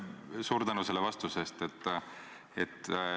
Suur tänu selle vastuse eest!